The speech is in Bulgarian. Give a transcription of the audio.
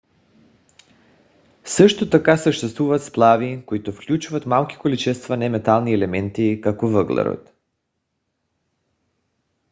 също така съществуват сплави които включват малки количества неметални елементи като въглерод